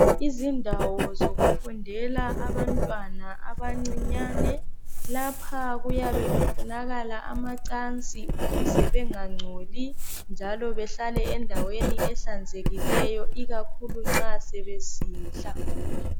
Izindawo zokufundela abantwana abancinyane , lapha kuyabe kufunakala amacansi ukuze bengangcoli njalo behlale endaweni ehlanzekikeyo ikakhulu nxa sebesidla